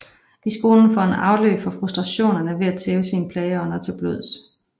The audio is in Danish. I skolen får han afløb for frustrationerne ved at tæve sine plageånder til blods